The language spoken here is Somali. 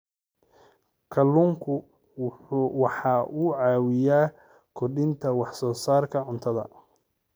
Kalluunku waxa uu caawiyaa kordhinta wax soo saarka cuntada.